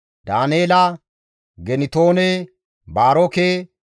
Daaneela, Gintoone, Baaroke,